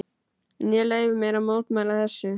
En ég leyfi mér að mótmæla þessu.